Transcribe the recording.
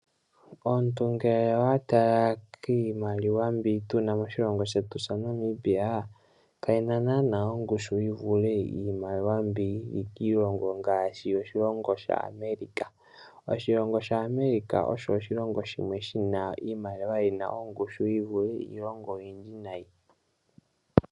Omuntu ngele owa tala kiimaliwa mbi tuna moshilongo shetu sha Namibia kayina naana ongushu yi vule iimaliwa mbi yili kiilongo ngaashi oshilongo sha America. Oshilongo sha America osho oshilongo shimwe shina iimaliwa yina ongushu yi vule iilonga oyindji nayi.